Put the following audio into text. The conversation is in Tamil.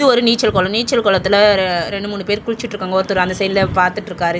இது ஒரு நீச்சல் கொளோ நீச்சல் கொளத்துல ரெ ரெண்டு மூணு பேர் குளிச்சிட்ருக்காங்க ஒருத்தர் அந்த சைட்ல பாத்துட்ருக்காரு இந்தத்--